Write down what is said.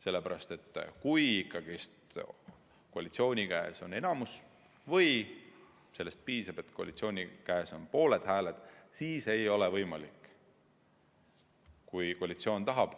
Sellepärast et kui ikkagi koalitsiooni käes on enamus – või isegi sellest piisab, et koalitsiooni käes on pooled hääled –, siis ei ole võimalik, kui komisjon tahab